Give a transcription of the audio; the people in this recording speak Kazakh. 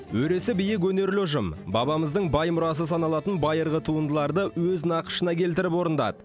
өресі биік өнерлі ұжым бабамыздың бай мұрасы саналатын байырғы туындыларды өз нақышына келтіріп орындады